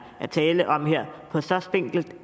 tale om her på så spinkelt